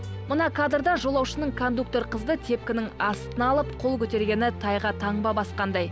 мына кадрда жолаушының кондуктор қызды тепкінің астына алып қол көтергені тайға таңба басқандай